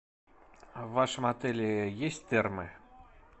в вашем отеле есть термы